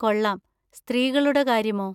കൊള്ളാം. സ്ത്രീകളുടെ കാര്യമോ?